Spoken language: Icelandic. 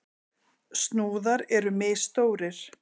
Snúðar eru misstórir.